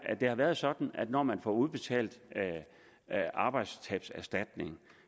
at det har været sådan at når man får udbetalt arbejdstabserstatning